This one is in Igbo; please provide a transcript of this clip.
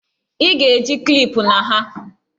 Ị ga-eji klipụ na ha!